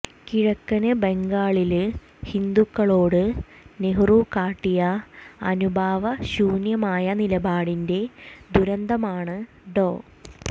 കിഴക്കന് ബംഗാളില് ഹിന്ദുക്കളോട് നെഹ്റു കാട്ടിയ അനുഭാവശൂന്യമായ നിലപാടിന്റെ ദുരന്തമാണ് ഡോ